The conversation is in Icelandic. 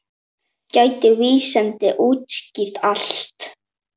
Geta vísindin útskýrt allt?